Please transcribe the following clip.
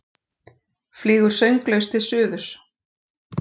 Flýgur sönglaus til suðurs.